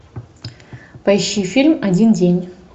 поищи фильм один день